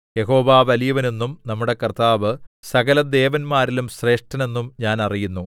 യഹോവ വലിയവൻ എന്നും നമ്മുടെ കർത്താവ് സകലദേവന്മാരിലും ശ്രേഷ്ഠൻ എന്നും ഞാൻ അറിയുന്നു